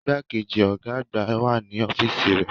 Igbákejì ọ̀gá àgbà wà ní ọ́fíìsì rẹ̀.